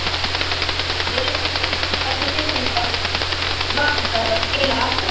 Lillý Valgerður: Hvernig tilfinning var það að skila atkvæðinu?